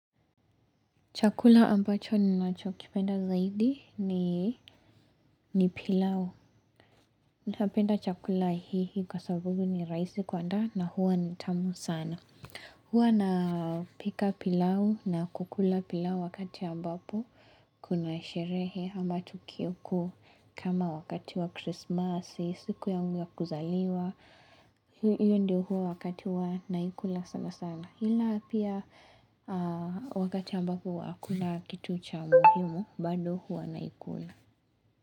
Chakula ambacho ni nacho kipenda zaidi ni pilau. Napenda chakula hii kwa sababu ni rahisi kuandaa na huwa ni tamu sana. Huwa na pika pilau na kukula pilau wakati ambapo. Kuna sherehe ama tukio kuu kama wakati wa krismasi, siku yangu ya kuzaliwa. Hiyo ndio huwa wakati wa naikula sana sana. Ila pia wakati ambapo hakuna kitu cha muhimu bado huwa naikula.